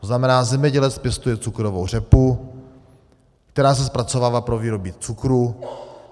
To znamená, zemědělec pěstuje cukrovou řepu, která se zpracovává pro výrobu cukru.